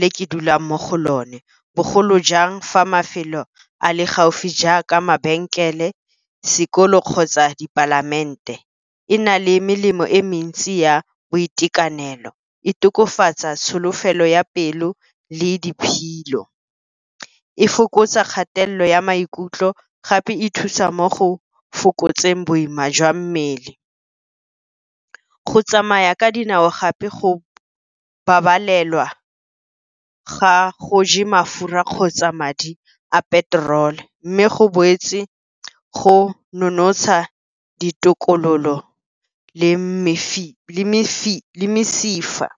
le ke dulang mo go lone. Bogolo jang fa mafelo a le gaufi jaaka mabenkele, sekolo kgotsa dipalamente. E na le melemo e mentsi ya boitekanelo, e tokafatsa tsholofelo ya pelo le . E fokotsa kgatelelo ya maikutlo gape e thusa mo go fokotseng boima jwa mmele. Go tsamaya ka dinao gape go babalela ga go ja mafura kgotsa madi a petrol, mme go boetse go nonotsha ditokololo le mesifa.